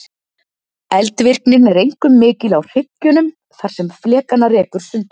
Eldvirknin er einkum mikil á hryggjunum þar sem flekana rekur sundur.